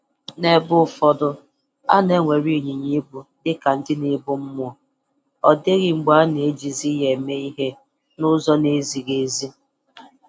N'ebe ụfọdụ, a na-ewere ịnyịnya ibu dị ka ndị na-ebu mmụọ, ọ dịghị mgbe a na-ejizi ya eme ihe n'ụzọ na-ezighị ezi.